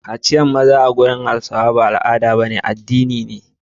Kaciyar maza ba al'ada ba ce a wajen Hausa, Addini ce.